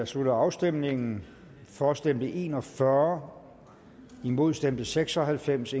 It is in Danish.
slutter afstemningen for stemte en og fyrre imod stemte seks og halvfems